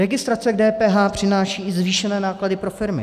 Registrace k DPH přináší i zvýšené náklady pro firmy.